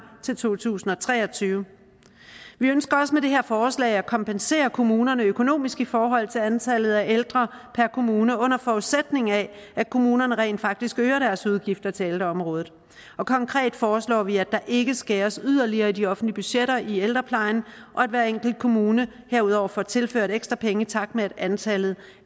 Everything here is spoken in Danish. til to tusind og tre og tyve vi ønsker også med det her forslag at kompensere kommunerne økonomisk i forhold til antallet af ældre per kommune under forudsætning af at kommunerne rent faktisk øger deres udgifter til ældreområdet konkret foreslår vi at der ikke skæres yderligere i de offentlige budgetter i ældreplejen og at hver enkelt kommune herudover får tilført ekstra penge i takt med at antallet